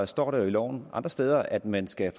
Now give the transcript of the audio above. står der jo i loven andre steder at man skal